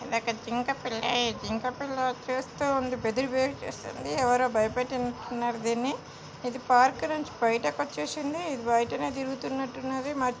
ఒక జింక పిల్ల. ఈ జింక పిల్ల చూస్తూ ఉంది. బెదిరి బెదిరి చూస్తుంది. ఎవరో భయపెట్టినట్టున్నారు దీన్ని. ఇది పార్క్ నుంచి బయటకచ్చేసింది. ఇది బయటనే తిరుగుతున్నట్టున్నది మ --